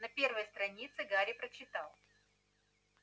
на первой странице гарри прочитал